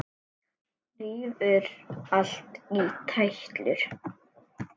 Rífur allt í tætlur.